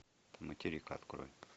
материк открой